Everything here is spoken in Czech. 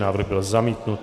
Návrh byl zamítnut.